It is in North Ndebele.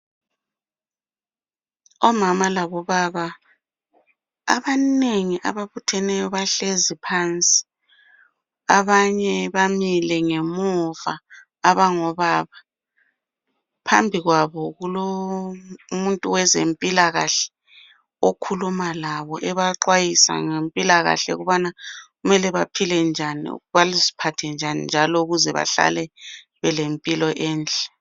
Omama labobaba, abanengi! Ababutheneyo, bahlezi phansi. Abanye bamile ngemuva , abangobaba. Phambi kwabo kulomuntu owezempilakahle. Okhuluma labo ebaxwayisa ngempilakahle, ukuthi baziphathe njani njalo. Ukuze bahlale belempilo enhle.